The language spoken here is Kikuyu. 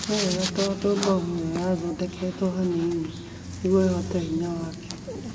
Ni wega tondu bomu iyo yathondeketwe banini nigũo ihote hinya wake